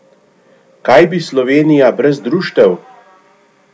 Kaj bi Slovenija brez društev?